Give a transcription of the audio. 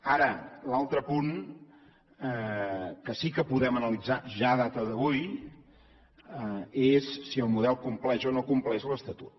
ara l’altre punt que sí que podem analitzar ja a data d’avui és si el model compleix o no compleix l’estatut